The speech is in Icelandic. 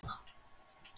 Sindri: Fljótlega?